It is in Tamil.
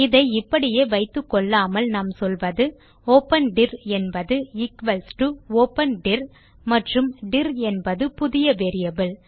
இதை இப்படியே வைத்துக்கொள்ளாமல் நாம் சொல்வது ஒப்பன் டிர் என்பது ஈக்வல்ஸ் டோ ஒப்பன் டிர் மற்றும் டிர் என்னும் புதிய வேரியபிள்